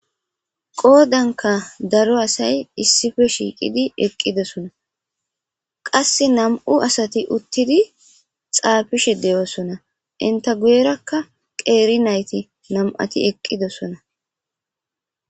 Qoodanka daro asay issipe shiiqidi eqqidosona; qassi nam'u asati uttidi xaafishe de'osonna; entta guyereakka qeeri nayti nam'ati eqqidosonna.